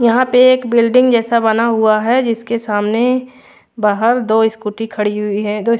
यहाँ पे एक बिल्डिंग जैसा बना हुआ है जिसके सामने बहार दो स्कूटी खड़ी हुई है दो --